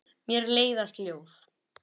Mér leiðast ljóð.